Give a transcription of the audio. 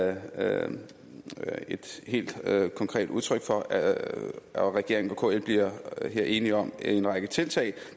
er der et helt konkret udtryk for og regeringen og kl bliver her enige om en række tiltag